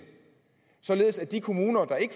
således at de kommuner der ikke